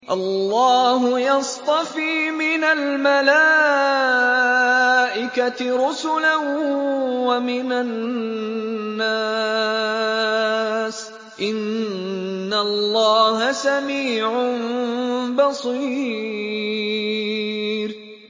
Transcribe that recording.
اللَّهُ يَصْطَفِي مِنَ الْمَلَائِكَةِ رُسُلًا وَمِنَ النَّاسِ ۚ إِنَّ اللَّهَ سَمِيعٌ بَصِيرٌ